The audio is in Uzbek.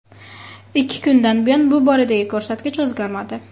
Ikki kundan buyon bu boradagi ko‘rsatkich o‘zgarmadi.